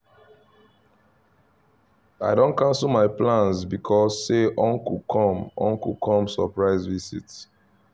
i don cancel my plans because say uncle come uncle come surprise visit